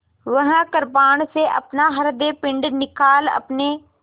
वह कृपाण से अपना हृदयपिंड निकाल अपने